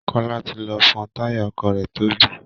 Kọ́lá ti lọ pọ́ táyà ọkọ̀ rẹ̀ tó bẹ́